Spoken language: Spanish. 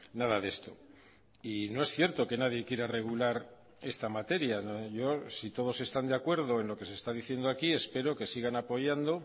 nada de esto y no es cierto que nadie quiera regular esta materia yo si todos están de acuerdo en lo que se está diciendo aquí espero que sigan apoyando